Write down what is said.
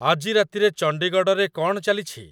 ଆଜି ରାତିରେ ଚଣ୍ଡୀଗଡ଼ରେ କ'ଣ ଚାଲିଛି ?